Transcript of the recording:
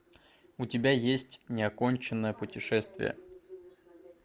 у тебя есть неоконченное путешествие